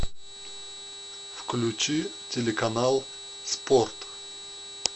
включи телеканал спорт